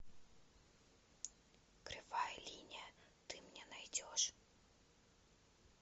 кривая линия ты мне найдешь